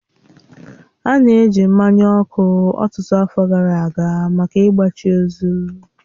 A na-eji mmanya ọkụ ọtụtụ afọ gara aga maka ịgbachi ozu.